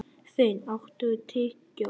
Finn, áttu tyggjó?